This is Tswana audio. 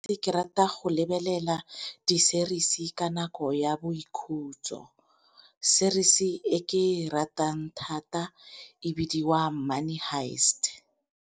Ke rata go lebelela di-series ka nako ya boikhutso, series e ke e ratang thata e bidiwa Money Heist.